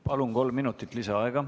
Palun, kolm minutit lisaaega!